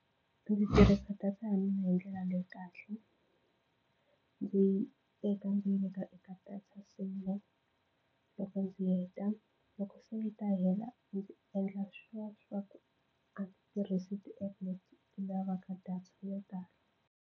Ndzi tirhisa data ya mina hi ndlela leyi kahle ndzi yi teka ndzi yi veka eka data saver loko ndzi heta loko se yi ta hela ndzi endla swilo swa ku a ndzi tirhisa ti-app leti ti lavaka data yo tala.